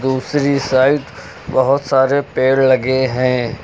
दूसरी साइड बहोत सारे पेड़ लगे हैं।